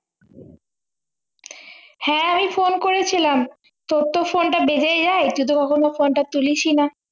হ্যাঁ আমি phone করেছিলাম তোর তো phone টা বেজেই যায় তুই তো কখনো phone টা তুলিস ই না।